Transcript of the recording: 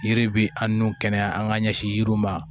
Yiri bi an n'u kɛnɛya an ga ɲɛsin yiriw ma